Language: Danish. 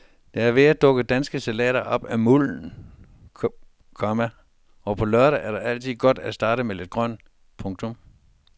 Der er ved at dukke danske salater op af mulden, komma og på en lørdag er det altid godt at starte med lidt grønt. punktum